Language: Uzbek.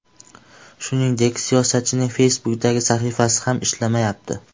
Shuningdek, siyosatchining Facebook’dagi sahifasi ham ishlamayapti.